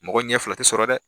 Mɔgɔ ɲɛ fila tɛ sɔrɔ dɛ!